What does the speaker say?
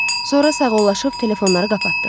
Sonra sağollaşıb telefonları qapatdıq.